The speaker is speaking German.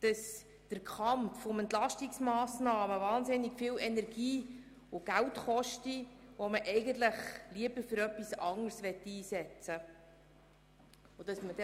Der Kampf um Entlastungsmassnahmen koste wahnsinnig viel Energie und Geld, die man eigentlich lieber für etwas Anderes einsetzen möchte.